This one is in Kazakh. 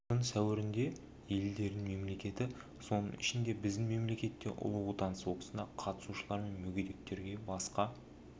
жылдың сәуірінде елдерінің мемлекеті соның ішінде біздің мемлекет те ұлы отан соғысына қатысушылар мен мүгедектерге басқа